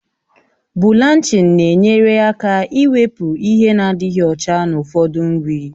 Bụlanchịn na-enyere aka ịwepụ ihe nadịghị ọcha na ụfọdụ nri